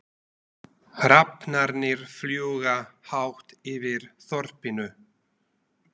Hrafnarnir fljúga hátt yfir þorpinu.